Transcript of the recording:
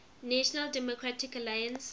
national democratic alliance